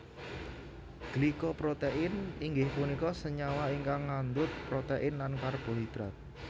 Glyco protein inggih punika senyawa ingkang ngandut protein lan karbohidrat